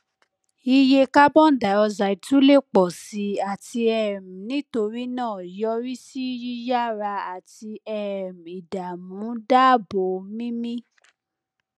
iye carbon dioxide tun le pọ si ati um nitorinaa yorisi yiyara ati um idaamu daabo mimi